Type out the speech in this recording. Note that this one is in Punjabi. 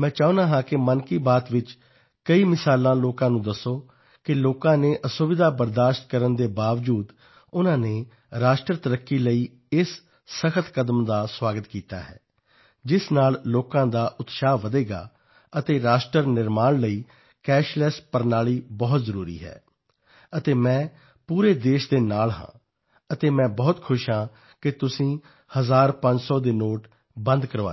ਮੈਂ ਚਾਹੁੰਦਾ ਹਾਂ ਕਿ ਮਨ ਕੀ ਬਾਤ ਵਿੱਚ ਕਈ ਉਦਾਹਰਨਾਂ ਲੋਕਾਂ ਨੂੰ ਦੱਸੋ ਕਿ ਲੋਕਾਂ ਨੇ ਅਸੁਵਿਧਾ ਸਹਿਣ ਕਰਨ ਦੇ ਬਾਵਜੂਦ ਵੀ ਉਨ੍ਹਾਂ ਨੇ ਰਾਸ਼ਟਰ ਉੰਨਤੀ ਲਈ ਇਸ ਸਖ਼ਤ ਕਦਮ ਲਈ ਸੁਆਗਤ ਕੀਤਾ ਹੈ ਜਿਸ ਨਾਲ ਲੋਕ ਇੱਕ ਤਰ੍ਹਾਂ ਨਾਲ ਉਤਸ਼ਾਹਜਨਕ ਹੋਣਗੇ ਅਤੇ ਰਾਸ਼ਟਰ ਨਿਰਮਾਣ ਲਈ ਕੈਸ਼ਲੈੱਸ ਪ੍ਰਣਾਲੀ ਬਹੁਤ ਜ਼ਰੂਰੀ ਹੈ ਅਤੇ ਮੈਂ ਪੂਰੇ ਦੇਸ਼ ਦੇ ਨਾਲ ਹਾਂ ਅਤੇ ਮੈਂ ਬਹੁਤ ਖੁਸ਼ ਹਾਂ ਕਿ ਤੁਸੀਂ ਹਜ਼ਾਰਪੰਜ ਸੌ ਦੇ ਨੋਟ ਬੰਦ ਕਰਵਾ ਦਿੱਤੇ